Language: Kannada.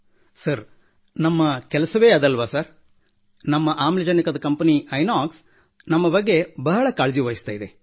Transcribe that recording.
ಸರ್ ನಮ್ಮ ಕೆಲಸವೇ ಅದಲ್ಲವೇ ಸರ್ ನಮ್ಮ ಆಮ್ಲಜನಕದ ಕಂಪನಿ ಐನಾಕ್ಸ ನಮ್ಮ ಬಗ್ಗೆ ಬಹಳ ಕಾಳಜಿವಹಿಸುತ್ತದೆ